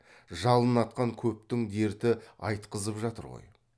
жалын атқан көптің дерті айтқызып жатыр ғой